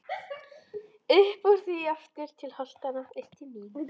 Uppúr því aftur til holtanna, upp til mín.